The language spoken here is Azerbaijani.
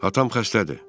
Atam xəstədir.